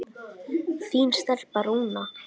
Þín stelpa, Rúna.